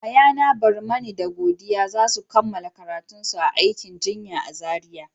Yayana Barmani da Godiya za su kammala karatun aikin jinya a Zaria.